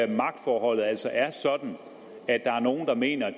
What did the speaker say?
magtforholdet altså er sådan at der er nogle der mener at